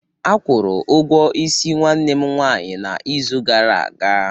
Akwuru ugwo isi nwanne m nwanyị n'izu gara aga.